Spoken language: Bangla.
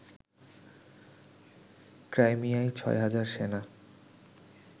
ক্রাইমিয়ায় ৬ হাজার সেনা